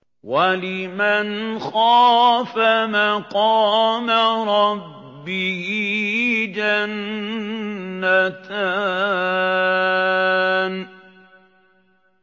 وَلِمَنْ خَافَ مَقَامَ رَبِّهِ جَنَّتَانِ